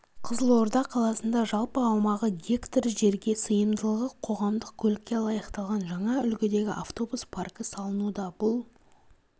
қызылорда қаласында жалпы аумағы гектар жерге сыйымдылығы қоғамдық көлікке лайықталған жаңа үлгідегі автобус паркі салынуда бұл